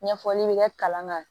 Ɲɛfɔli bɛ kɛ kalan kan